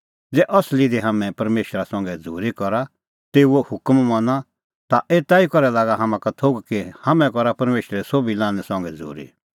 ज़ै असली दी हाम्हैं परमेशरा संघै झ़ूरी करा और तेऊओ हुकम मना ता एता ई करै लागा हाम्हां का थोघ कि हाम्हैं करा परमेशरे सोभी लान्हैं संघै झ़ूरी